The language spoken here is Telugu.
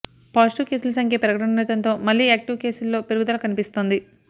పాజిటివ్ కేసుల సంఖ్య పెరుగుతుండటంతో మళ్లీ యాక్టివ్ కేసుల్లో పెరుగుదల కనిపిస్తోంది